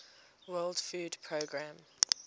world food programme